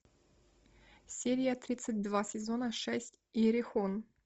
серия тридцать два сезона шесть иерихон